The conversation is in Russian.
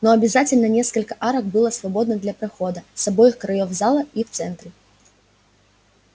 но обязательно несколько арок было свободно для прохода с обоих краёв зала и в центре